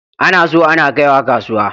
Ana so ana kaiwa kasuwa.